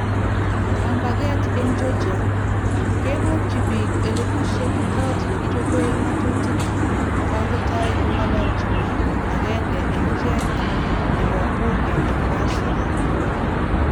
Kambaget eng Georgia:Kebokyi bik elebusiek kot nekichobe ng'atutik kangotoi kong'ololji biik agenge eng ichek nebo Bunge eng Russia